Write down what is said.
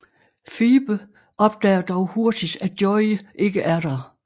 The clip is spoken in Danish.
Phoebe opdager dog hurtigt at Joey ikke er der